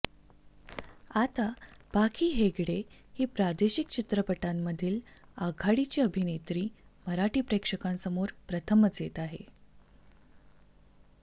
आता पाखी हेगडे ही प्रादेशिक चित्रपटांमधील आघाडीची अभिनेत्री मराठी प्रेक्षकांसमोर प्रथमच येत आहे